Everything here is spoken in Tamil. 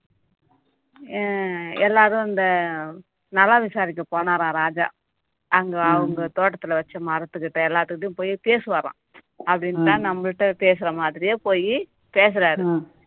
அஹ் எல்லாரும் இந்த நலம் விசாரிக்க போனாறாம் ராஜா அங்க அவங்க தோட்டத்துல வச்ச மரத்துக்கிட்ட எல்லாத்துகிட்டயும் போயி பேசுவாராம் அப்படின்னுதான் நம்மள்ட்ட பேசற மாதிரியே போயி பேசறாரு